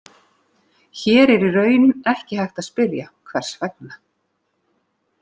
Hér er í raun ekki hægt að spyrja, hvers vegna?